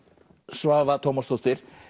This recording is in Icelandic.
Svava Tómasdóttir